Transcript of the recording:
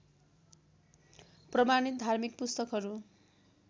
प्रमाणित धार्मिक पुस्तकहरू